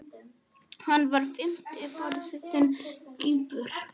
Hann var fimmti forseti Kýpur.